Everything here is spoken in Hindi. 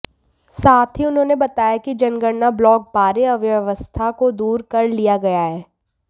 साथ ही उन्होंने बताया कि जनगणना ब्लॉक बारे अव्यवस्था को दूर कर लिया गया है